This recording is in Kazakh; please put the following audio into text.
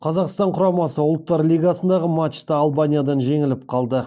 қазақстан құрамасы ұлттар лигасындағы матчта албаниядан жеңіліп қалды